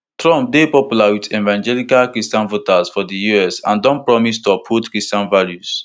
trump dey popular wit evangelical christian voters for di us and don promise to uphold christian values